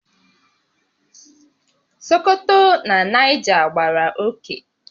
Sokoto na Niger gbàrà oké